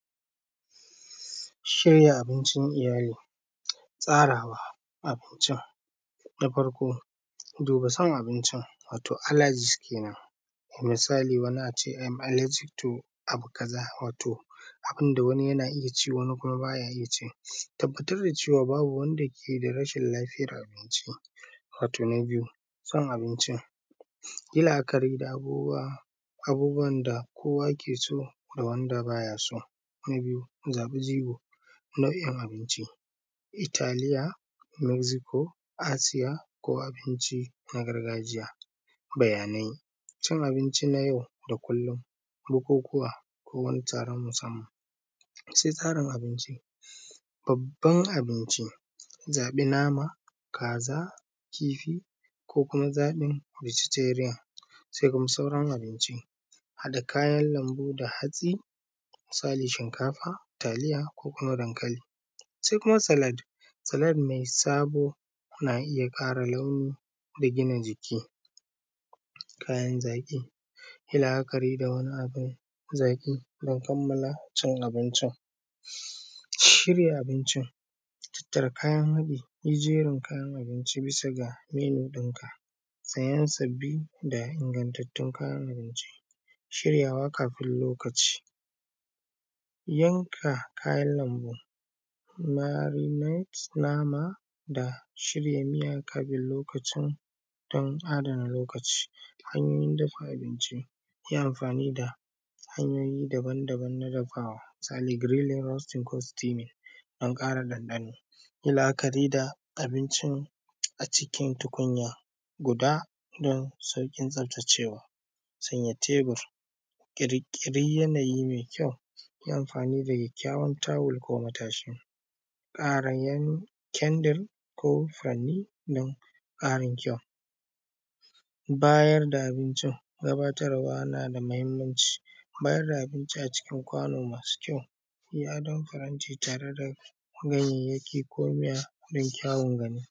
Shirya abincin iyali, tsarawa abincin. Na farko, duba san abincin wato allergy kenan, misali wani ace am allergic to abu kaza wato abunda wani yana iya ci wani kuma baya iya ci, tabbatar da cewa babu wanda ke da rashin lafiyan abincin. Wato na biyu, son abincin, yin la’akari da abubuwan da kowa ke so da wanda baya so, na biyu zaɓi jigon nau’in abinci, Italia, Mexico, Asia ko abinci na gargajiya. Bayanai, cin abinci na yau da kullum, bukukuwa ko wani taron musamman, sai tsarin abinci. Babban abinci zaɓi nama, kaza, kifi ko kuma zaɓin vegetarian, sai kuma sauran abinci haɗa kayan lambu da hatsi, misali shinkafa, taliya ko kuma dankali. Sai kuma salad, salad mai sabo na iya ƙara launi da gina jiki, kayan zaƙi, yi la’akari da wani abun zaƙi don kamala cin abincin. Shirya abincin, tattara kayan haɗi, jerin kayan abinci bisa ga menu ɗin ka sayan sabbi da ingantattun kayan abinci, shiryawa kafin lokaci, yanka kayan lambu, marinades nama da shirya miya kafin lokacin don adana lokaci. Hanyoyin dafa abinci, yi amfani da hanyoyi daban-daban na dafawa, misali grilling, roasting ko steaming, don ƙara ɗanɗano. Yi la’akari da abinci acikin tukunya guda don sauƙin tsaftacewa. Sanya tebur, ƙirƙiri yanayi mai kyau, yi amfani da kyakkyawan towel ko matashi, ƙarayen ƙyandir ko furanni don ƙarin kyau. Bayarda abincin, gabatarwa na da muhimmanci, bayarda abinci a cikin kwano masu kyau, yi adon faranti tare da ganyayyaki ko miya.